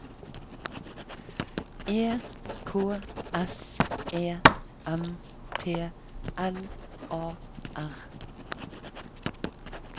E K S E M P L A R